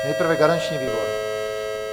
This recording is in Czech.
Nejprve garanční výbor.